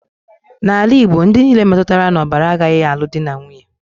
N'ala Igbo, ndị nile metụtara n'ọbara agaghị alụ dị na nwunye